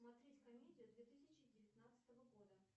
смотреть комедию две тысячи девятнадцатого года